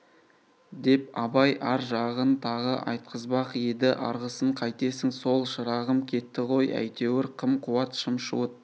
деп абай ар жағын тағы айтқызбақ еді арғысын қайтесің сол шырағым кетті ғой әйтеуір қым-қуыт шым-шуыт